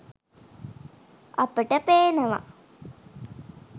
අපට පේනවා